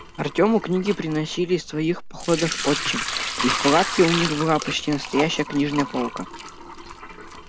артёму книги приносили из своих походов отчим и в палатке у них была почти настоящая книжная полка